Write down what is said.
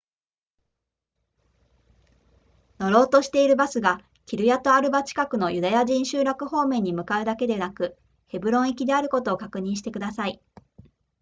乗ろうとしているバスがキルヤトアルバ近くのユダヤ人集落方面に向かうだけでなくヘブロン行きであることを確認してください